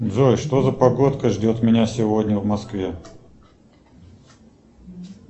джой что за погодка ждет меня сегодня в москве